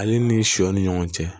Ale ni sɔ ni ɲɔgɔn cɛ